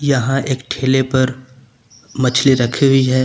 यहां एक ठेले पर मछली रखी हुई है।